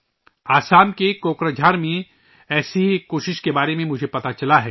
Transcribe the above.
آسام کے کوکرا جھار میں مجھے ایسی ہی ایک کوشش کے بارے میں معلوم ہوا ہے